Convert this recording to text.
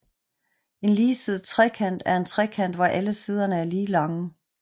En ligesidet trekant er en trekant hvor alle siderne er lige lange